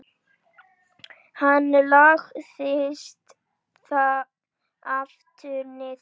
Hann lagðist aftur niður.